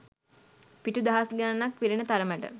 පිටු දහස් ගණනක් පිරෙන තරමට